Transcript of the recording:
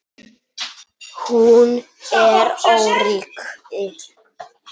Hún er öryrki.